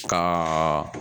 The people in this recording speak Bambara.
Ka